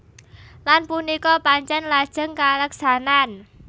Lan punika pancèn lajeng kaleksanan